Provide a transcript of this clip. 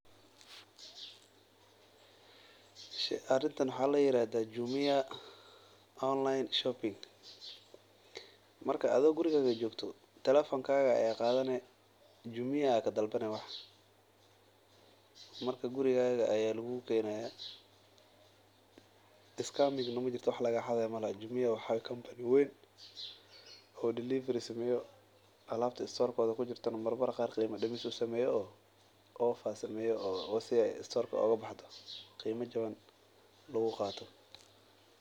Arintan waxaa layirahdaa Jumia online shopping. Marka ado gurigada jogto telefonkaga ayaa qadane , jumia aa kadalbane gurigada ayaa lugugukenaya wax lagaxadayo malaha scaming majirto wax lagaxaday majirto oo delivery sameyo alabta store-koda kujirto marar qar qeyma dimis in ay kujirto losameyo si oo store ogabaxdo , qeyma jaban luguqato.